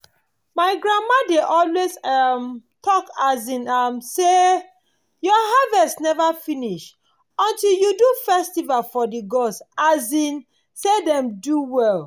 my grandmama dey always um talk um am. say your harvest never finish until you do festival for the gods um say dem do well.